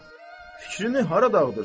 fikrini hara dağıdırsan?